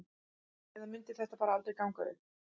Eða mundi þetta bara aldrei ganga upp?